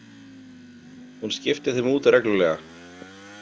Hún skipti þeim út reglulega.